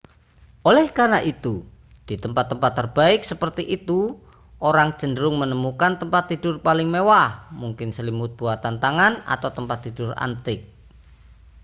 oleh karena itu di tempat-tempat terbaik seperti itu orang cenderung menemukan tempat tidur paling mewah mungkin selimut buatan tangan atau tempat tidur antik